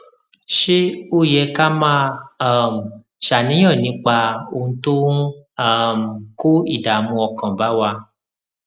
ṣé ó ó yẹ ká máa um ṣàníyàn nípa ohun tó ń um kó ìdààmú ọkàn bá wa